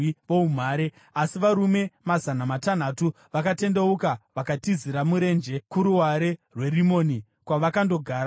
Asi varume mazana matanhatu vakatendeuka vakatizira murenje kuruware rweRimoni, kwavakandogara kwemwedzi mina.